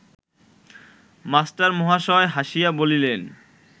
মাস্টারমহাশয় হাসিয়া বলিলেন